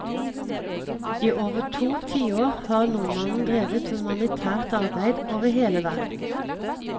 I over to tiår har nordmannen drevet humanitært arbeid over hele verden.